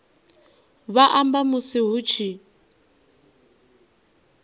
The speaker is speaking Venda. vha amba musi hu tshi